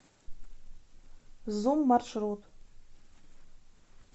зум маршрут